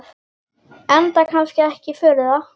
Enda kannski ekki að furða.